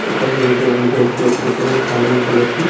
ऐकर में गोल-गोल करके ऊपर में पानी खेलत ही।